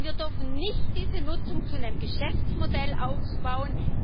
Denn wir dürfen nicht diese Nutzung zu einem Geschäftsmodell ausbauen.